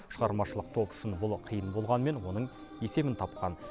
шығармашылық топ үшін бұл қиын болғанымен оның есебін тапқан